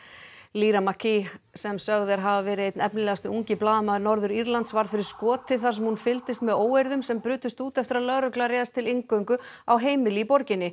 lyra McKee sem sögð er hafa verið einn efnilegasti ungi blaðamaður Norður Írlands varð fyrir skoti þar sem hún fylgdist með óeirðum sem brutust út eftir að lögregla réðst til inngöngu á heimili í borginni